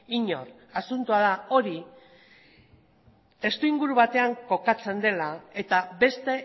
inor asuntoa da hori testuinguru batean kokatzen dela eta beste